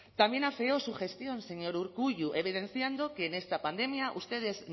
también afeó su gestión señor urkullu evidenciando que en esta pandemia ustedes